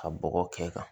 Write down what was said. Ka bɔgɔ kɛ kan